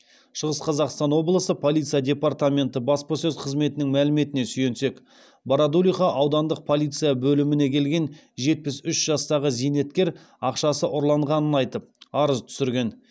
шығыс қазақстан облысы полиция департаменті баспасөз қызметінің мәліметіне сүйенсек бородулиха аудандық полиция бөліміне келген жетпіс үш жастағы зейнеткер ақшасы ұрланғанын айтып арыз түсірген